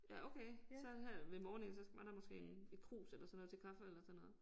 Ja okay så her ved morning så var der måske en et krus eller sådan noget til kaffe eller sådan noget